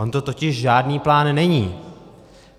On to totiž žádný plán není.